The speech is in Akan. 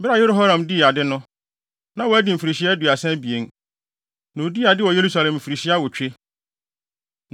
Bere a Yehoram dii ade no, na wadi mfirihyia aduasa abien. Na odii ade wɔ Yerusalem mfirihyia awotwe.